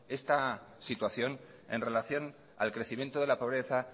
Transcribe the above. esta situación en relación al crecimiento de la pobreza